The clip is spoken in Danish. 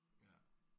Ja